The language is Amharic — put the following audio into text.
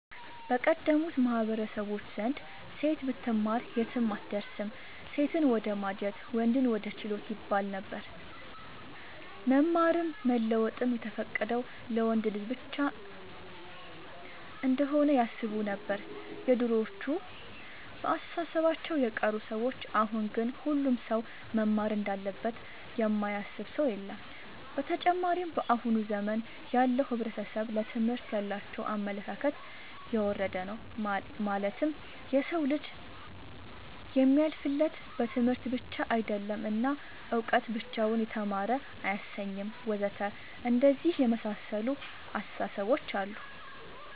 በቀደሙት ማህበረሰቦች ዘንድ ሴት ብትማር የትም አትደርስም ሴትን ወደማጀት ወንድን ወደ ችሎት ይባለነበር። መማርም መለወጥም የተፈቀደው ለወንድ ልጅ ብቻ እንሆነ ያስቡነበር የድሮዎቹ እና በአስተሳሰባቸው የቀሩ ሰዎች አሁን ግን ሁሉም ሰው መማር እንዳለበት የማያስብ ሰው የለም። ብተጨማርም በአሁን ዘመን ያለው ሕብረተሰብ ለትምህርት ያላቸው አመለካከት የወረደ ነው ማለትም የሰው ልጅ የሚያልፍለት በትምህርት ብቻ አይደለም እና እውቀት ብቻውን የተማረ አያሰኝም ወዘተ አንደነዚህ የመሳሰሉት አስታሳሰቦች አሉ